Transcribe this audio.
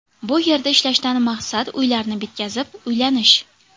Bu yerda ishlashdan maqsad uylarni bitkazib, uylanish.